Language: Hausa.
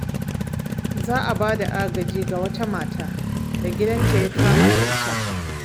Za a ba da agaji ga wata mata da gidanta ya kama da wuta.